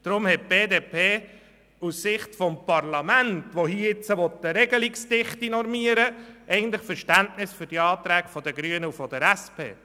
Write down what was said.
Deshalb hat die BDP aus Sicht des Parlaments, das hier eine Regelungsdichte normieren will, Verständnis für die Anträge der Grünen und der SP.